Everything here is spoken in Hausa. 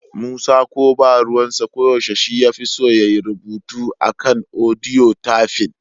Musa ko ba ruwansa, ko yaushe shi ya fi son ya yi odiyo a kan rubutu/tafin.